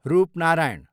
Rupnarayan